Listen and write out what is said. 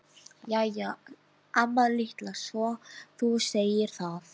Jæja amma litla, svo þú segir það!